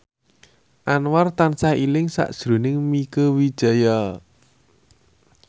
Anwar tansah eling sakjroning Mieke Wijaya